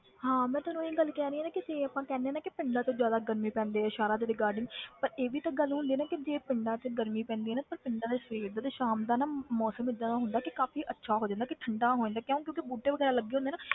ਹਾਂ ਮੈਂ ਤੈਨੂੰ ਇਹੀ ਗੱਲ ਕਹਿ ਰਹੀ ਹਾਂ ਨਾ ਕਿ ਜੇ ਆਪਾਂ ਕਹਿੰਦੇ ਹਾਂ ਨਾ ਕਿ ਪਿੰਡਾਂ 'ਚ ਜ਼ਿਆਦਾ ਗਰਮੀ ਪੈਂਦੀ ਹੈ ਸ਼ਹਿਰਾਂ ਦੇ regarding ਪਰ ਇਹ ਵੀ ਤਾਂ ਗੱਲ ਹੁੰਦੀ ਆ ਨਾ ਕਿ ਜੇ ਪਿੰਡਾਂ 'ਚ ਗਰਮੀ ਪੈਂਦੀ ਹੈ ਨਾ ਪਰ ਪਿੰਡਾਂ ਦਾ ਸਵੇਰ ਦਾ ਤੇ ਸ਼ਾਮ ਦਾ ਨਾ ਮੌਸਮ ਏਦਾਂ ਦਾ ਹੁੰਦਾ ਕਿ ਕਾਫ਼ੀ ਅੱਛਾ ਹੋ ਜਾਂਦਾ ਕਿ ਠੰਢਾ ਹੋ ਜਾਂਦਾ ਕਿਉਂ ਕਿਉਂਕਿ ਬੂਟੇ ਵਗ਼ੈਰਾ ਲੱਗੇ ਹੁੰਦੇ ਨਾ,